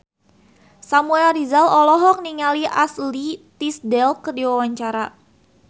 Samuel Rizal olohok ningali Ashley Tisdale keur diwawancara